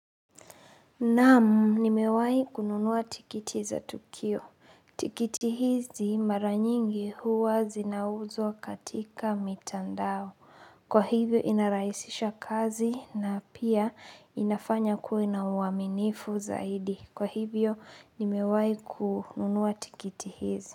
Naam nimewahi kununua tikiti za tukio. Tikiti hizi mara nyingi huwa zinauzwa katika mitandao. Kwa hivyo inarahisisha kazi na pia inafanya ukuwe na uaminifu zaidi. Kwa hivyo nimewahi kununua tikiti hizi.